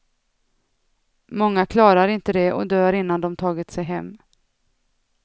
Många klarar inte det och dör innan de tagit sig hem.